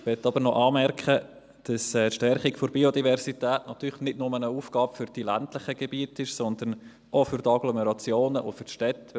Ich möchte jedoch noch anmerken, dass die Stärkung der Biodiversität natürlich nicht nur eine Aufgabe für die ländlichen Gebiete ist, sondern auch für die Agglomerationen und für die Städte.